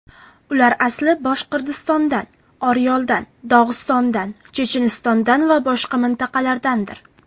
Ular asli Boshqirdistondan, Oryoldan, Dog‘istondan, Chechenistondan va boshqa mintaqalardandir.